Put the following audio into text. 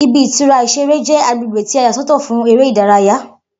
Ibi-ìtura ìṣeré jẹ agbègbè ti a yà sọ́tọ̀ fún eré ìdárayá.